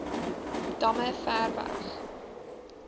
damme ver weg